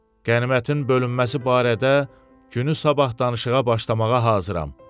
Qənimətin bölünməsi barədə günü sabah danışığa başlamağa hazıram.